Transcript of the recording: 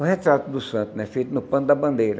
Um retrato do santo, né, feito no pano da bandeira.